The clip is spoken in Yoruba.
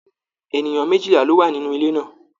Ènìyàn méjìlá lọ wá nínú ilè náà.